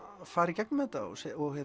fara í gegnum þetta og